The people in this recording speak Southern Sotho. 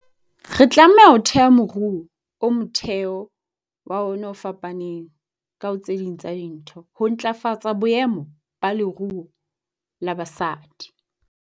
Re tlameha ho theha moruo o motheo wa ona o fapaneng ka, ho tse ding tsa dintho, ho ntlafatsa boemo ba leruo la basadi.